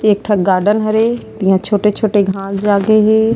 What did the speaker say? एक ठो गार्डन हवे यहा छोटे - छोटे घास जागे हे।